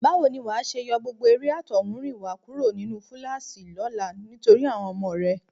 Báwo ni wà á ṣe yọ gbogbo eré àtọ̀húnrìnwá kúrò nínú fúláàṣì lọ́la nítorí àwọn ọmọ rẹ?